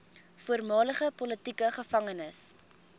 voormalige politieke gevangenes